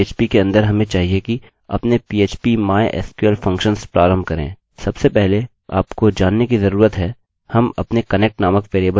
सबसे पहले आपको जानने की जरूरत है हम अपने connect नामक वेरिएबल से शुरू करेंगे और यह mysql_connect फंक्शन इस्तेमाल करेगा